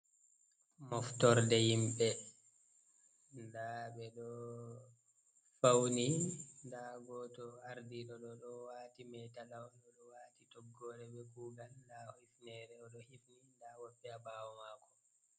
Moftorde himɓe nda ɓeɗo fauni, nda goto ardiɗo ɗo ɗowati meta lawol, o wati toggore be kugal lowi hifnere oɗo himni nda woɓɓe ha ɓawo mako.